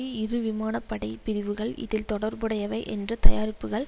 இரு விமான படை பிரிவுகள் இதில் தொடர்புடையவை என்று தயாரிப்புக்கள்